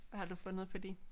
Hvad har du fundet på din?